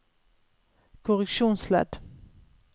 korreksjonsledd